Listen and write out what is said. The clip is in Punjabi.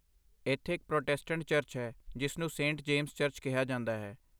ਇੱਥੇ ਇੱਕ ਪ੍ਰੋਟੈਸਟੈਂਟ ਚਰਚ ਹੈ ਜਿਸ ਨੂੰ ਸੇਂਟ ਜੇਮਸ ਚਰਚ ਕਿਹਾ ਜਾਂਦਾ ਹੈ।